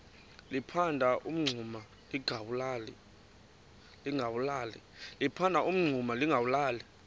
liphanda umngxuma lingawulali